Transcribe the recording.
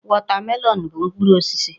wọtamelọn bụ mkpụrụ osisi.